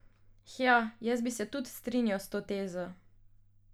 Hja, jaz bi se tud strinjal s to tezo.